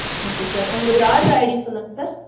Okay Sir. உங்களுடைய order ID சொல்லுங்க sir.